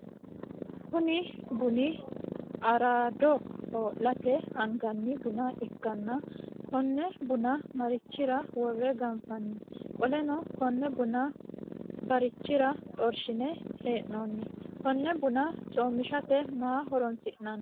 Kunni bunni araado hoo'late anganni bunna ikanna konne bunna marichira wore ganfoonni? Qoleno konne bunna barichira xorshine hee'noonni? Konne bunna coomishate maa horoonsi'noonni?